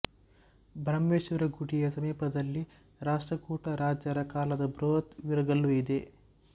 ಬ್ರಹ್ಮೇಶ್ವರ ಗುಡಿಯ ಸಮೀಪದಲ್ಲಿ ರಾಷ್ಟ್ರಕೂಟರಾಜರ ಕಾಲದ ಬೃಹತ್ ವೀರಗಲ್ಲು ಇದೆ